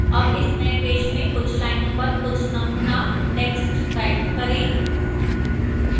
अब इस नए पेज में कुछ लाइनों पर कुछ नमूना text type करें